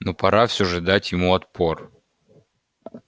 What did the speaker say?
но пора всё же дать ему отпор